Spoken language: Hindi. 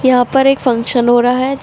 यहां पर एक फंक्शन हो रहा है।